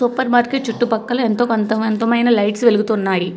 Super market చుట్టుపక్కల ఎంతోకొంత మైన లైట్స్ వెలుగుతున్నాయి.